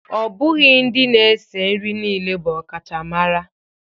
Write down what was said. Ọ bụghị ndị na-esi nri niile bụ ọkachamara